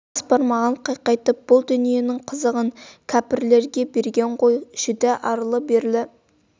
бас бармағын қайқайтып бұл дүниенің қызығын кәіпрлерге берген ғой жүдә арлы-берлі